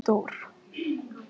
Guðmey, hvað er jörðin stór?